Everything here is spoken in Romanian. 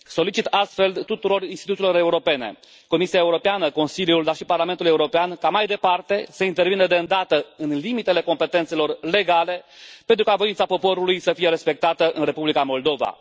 Solicit astfel tuturor instituțiilor europene Comisiei Europene, Consiliului, dar și Parlamentului European ca, mai departe, să intervină de îndată, în limitele competențelor legale, pentru ca voința poporului să fie respectată în Republica Moldova.